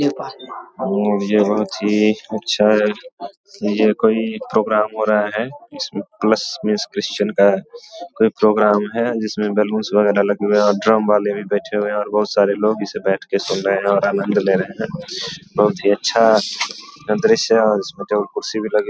और ये बहुत ही अच्छा है ये कोई प्रोग्राम हो रहा है जिसमे प्लस मीन्स क्रिस्चियन का कोई प्रोग्राम है जिसमे बैलूंस वगैरा लगे हुए हैं और ड्रम वाले भी बैठे हुए हैं और बहुत सारे लोग इसे बैठ के सुन रहे हैं और आनंद ले रहे हैं बहुत ही अच्छा दृश्य है और इसमें जो कुर्सी भी लगे --